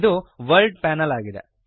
ಇದು world panel ಆಗಿದೆ